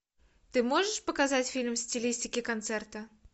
ты можешь показать фильм в стилистике концерта